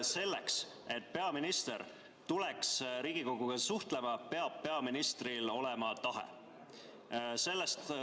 Selleks, et peaminister tuleks Riigikoguga suhtlema, peaks peaministril olema tahet.